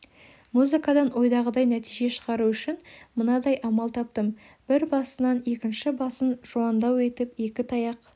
музыкадан ойдағыдай нәтиже шығару үшін мынадай амал таптым бір басынан екінші басын жуандау етіп екі таяқ